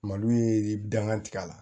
Malo ye dankan tigɛ la